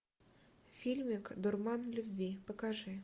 фильмик дурман любви покажи